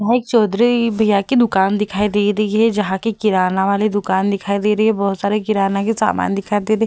वहाँ एक चौधरी भैया की दुकान दिखाई दे रही है जहाँ कि किराना वाले दुकान दिखाई दे रही है बहुत सारी किराना की सामान दिखाई दे रही हैं ।